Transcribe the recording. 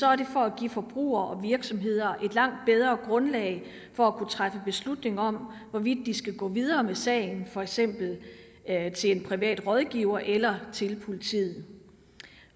er det for at give forbrugere og virksomheder et langt bedre grundlag for at kunne træffe beslutning om hvorvidt de skal gå videre med en sag for eksempel til en privat rådgiver eller til politiet